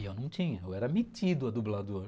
E eu não tinha, eu era metido a dublador.